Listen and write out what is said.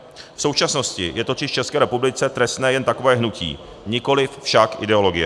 V současnosti je totiž v České republice trestné jen takové hnutí, nikoliv však ideologie.